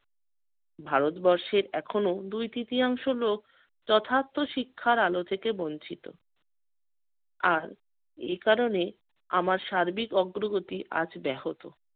ভারতবর্ষে এখনো দুই তৃতীয়াংশ লোক যথার্থ শিক্ষার আলো থেকে বঞ্চিত। আর এ কারণে আমার সার্বিক অগ্রগতি আজ ব্যাহত।